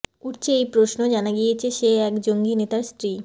উঠছে এই প্রশ্ন জানা গিয়েছে সে এক জঙ্গি নেতার স্ত্রী